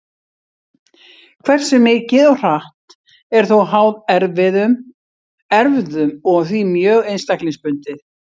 Hversu mikið og hratt er þó háð erfðum og því mjög einstaklingsbundið.